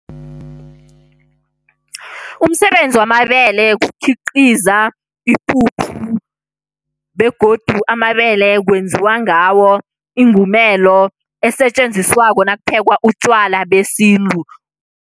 Umsebenzi wamabele kukhiqiza ipuphu, begodu amabele kwenziwa ngawo ingumelo esetjenziswako nakuphekwa utjwala besintu.